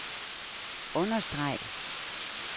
understreg